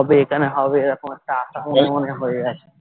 হবে এখানে হবে এরকম একটা আশা মনে মনে হয়ে আছে